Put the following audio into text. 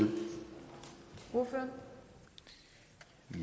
hvorfra